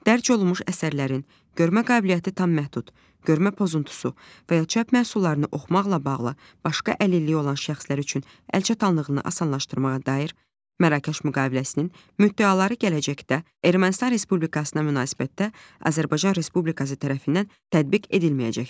dərc olunmuş əsərlərin görmə qabiliyyəti tam məhdud, görmə pozuntusu və ya çap məhsullarını oxumaqla bağlı başqa əlilliyi olan şəxslər üçün əlçatanlığını asanlaşdırmağa dair Mərakeş müqaviləsinin müddəaları gələcəkdə Ermənistan Respublikasına münasibətdə Azərbaycan Respublikası tərəfindən tədbiq edilməyəcəkdir.